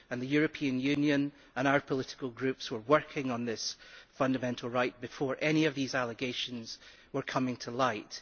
The Union and our political groups were working on this fundamental right before any of these allegations came to light.